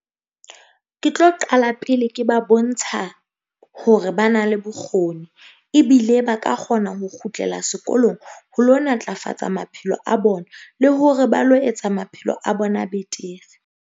Ke tlo qala pele ke ba bontsha hore ba na le bokgoni, ebile ba ka kgona ho kgutlela sekolong ho lo natlafatsa maphelo a bona, le hore ba lo etsa maphelo a bona betere.